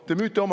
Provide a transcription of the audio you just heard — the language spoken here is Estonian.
Aitäh!